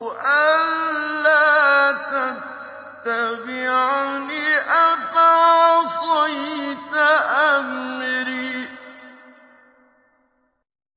أَلَّا تَتَّبِعَنِ ۖ أَفَعَصَيْتَ أَمْرِي